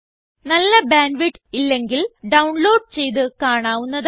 നല്ല bandwidth ഇല്ലെങ്കിൽ download ചെയ്ത് കാണാവുന്നതാണ്